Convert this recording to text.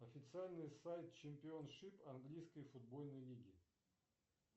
официальный сайт чемпион шип английской футбольной лиги